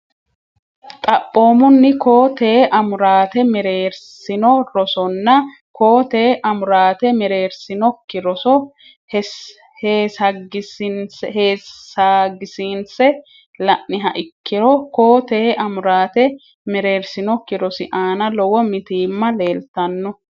Xaphoomunni koo tee amuraate mereersino rosonna koo tee amuraate mereersinokki roso heessagisiinse la niha ikkiro koo tee amuraate mereersinokki rosi aana lowo mitiimma leeltanno.